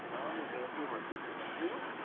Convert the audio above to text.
ನಾನ್ ಈಗ MBA ಮಾಡ್ತಾ ಇದ್ದೇನೆ, ನೀವು?